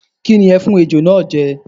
Kí ni ẹ fún Ejò náà jẹ?